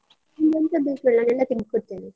ನಿಂಗೆ ಎಂತ ಬೇಕು ಹೇಳು, ನಾನ್ ಎಲ್ಲ ತೆಗ್ದು ಕೊಡ್ತೇನೆ.